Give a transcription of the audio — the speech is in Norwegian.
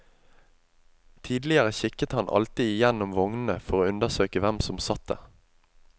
Tidligere kikket han alltid igjennom vognene for å undersøke hvem som satt der.